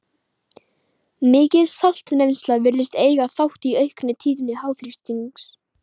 Mikil saltneysla virðist eiga þátt í aukinni tíðni háþrýstings.